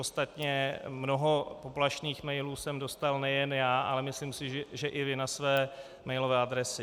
Ostatně mnoho poplašných mailů jsem dostal nejen já, ale myslím si, že i vy na své mailové adresy.